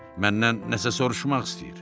Məndən nəsə soruşmaq istəyir.